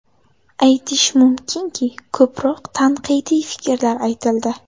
Aytish mumkinki, ko‘proq tanqidiy fikrlar aytildi.